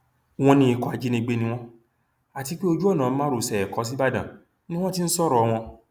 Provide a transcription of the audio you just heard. wọn ní ikọ ajínigbé ni wọn àti pé ojú ọnà márosẹ ẹkọ ṣíbàdàn ni wọn ti ń sọrọ wọn